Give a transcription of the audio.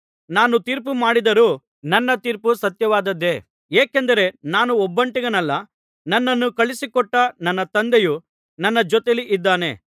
ನಾನು ತೀರ್ಪು ಮಾಡಿದರೂ ನನ್ನ ತೀರ್ಪು ಸತ್ಯವಾದದ್ದೇ ಏಕೆಂದರೆ ನಾನು ಒಬ್ಬಂಟಿಗನಲ್ಲ ನನ್ನನ್ನು ಕಳುಹಿಸಿಕೊಟ್ಟ ನನ್ನ ತಂದೆಯೂ ನನ್ನ ಜೊತೆಯಲ್ಲಿ ಇದ್ದಾನೆ